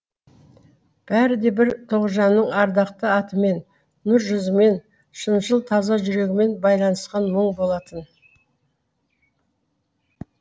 бәрі де бір тоғжанның ардақты атымен нұр жүзімен шыншыл таза жүрегімен байланысқан мұң болатын